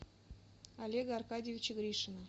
олега аркадьевича гришина